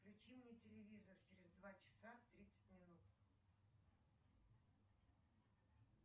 включи мне телевизор через два часа тридцать минут